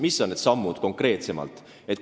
Mis on need sammud konkreetsemalt?